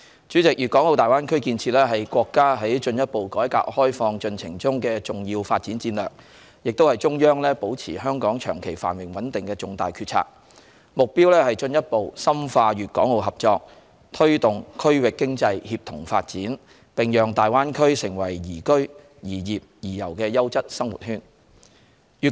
主席，大灣區建設是國家進一步改革開放進程中的重要發展戰略，亦是中央保持香港長期繁榮穩定的重大決策，目標是進一步深化粵港澳合作，推動區域經濟協同發展，並讓大灣區成為宜居、宜業、宜遊的優質生活圈。